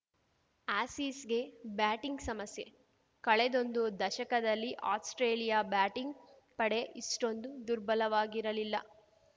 ಆಸೀಸ್‌ಗೆ batting ಸಮಸ್ಯೆ ಕಳೆದೊಂದು ದಶಕದಲ್ಲಿ ಆಸ್ಪ್ರೇಲಿಯಾ ಬ್ಯಾಟಿಂಗ್‌ ಪಡೆ ಇಷ್ಟೊಂದು ದುರ್ಬಲವಾಗಿರಲಿಲ್ಲ